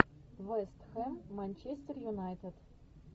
вест хэм манчестер юнайтед